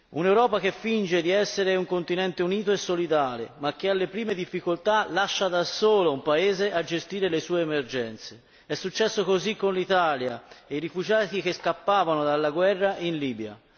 Un'Europa che finge di essere un continente unito e solidale, ma che alle prime difficoltà lascia da solo un paese a gestire le sue emergenze è successo così con l'Italia e i rifugiati che scappavano dalla guerra in Libia.